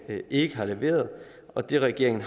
ikke har leveret og det regeringen